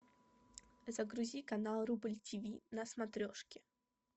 загрузи канал рубль тиви на смотрешке